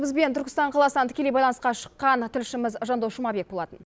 бізбен түркістан қаласынан тікелей байланысқа шыққан тілшіміз жандос жұмабек болатын